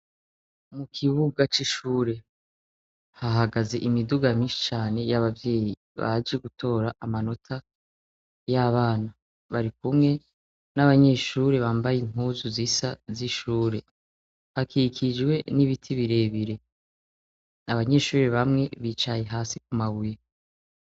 Mu kibuga c'ishure ,hahagaze imiduga myinshi cane y'abavyeyi baje gutora amanota, y'abana bari kumwe n'abanyeshuri bambaye impuzu zisa z'ishure hakikijwe n'ibiti birebire ,abanyeshuri bamwe bicaye hasi ku mabuye.